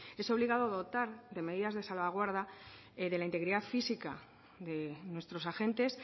es obligado dotar de medidas de salvaguarda de la integridad física de nuestros agentes